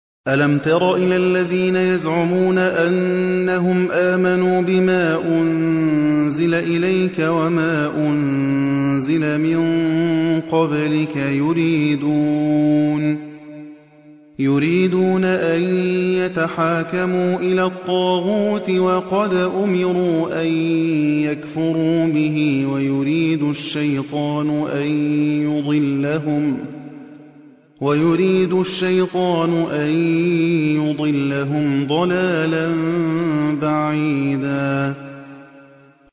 أَلَمْ تَرَ إِلَى الَّذِينَ يَزْعُمُونَ أَنَّهُمْ آمَنُوا بِمَا أُنزِلَ إِلَيْكَ وَمَا أُنزِلَ مِن قَبْلِكَ يُرِيدُونَ أَن يَتَحَاكَمُوا إِلَى الطَّاغُوتِ وَقَدْ أُمِرُوا أَن يَكْفُرُوا بِهِ وَيُرِيدُ الشَّيْطَانُ أَن يُضِلَّهُمْ ضَلَالًا بَعِيدًا